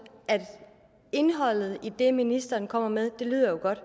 indholdet i det ministeren kommer med lyder jo godt